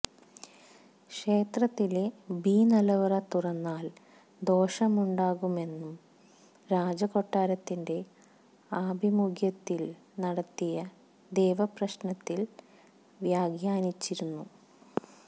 ക്ഷേത്രത്തിലെ ബി നിലവറ തുറന്നാല് ദോഷമുണ്ടാകുമെന്നു രാജകൊട്ടാരത്തിന്റെ ആഭിമുഖ്യത്തില് നടത്തിയ ദേവപ്രശ്നത്തില് വ്യാഖ്യാനിച്ചിരുന്നു